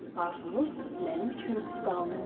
Arzunuz mənim üçün qanunumdur.